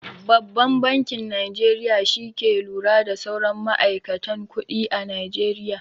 Babban bankin Najeriya shi ke lura da sauran ma'aikatan kuɗi a najeriya.